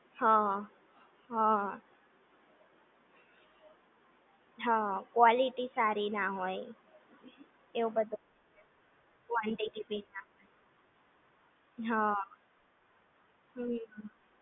હા હા હા ક્વાલિટી સારી ના હોય એવું બધુ કુઆન્ટીટી ભી ના હોય હા હમ્મ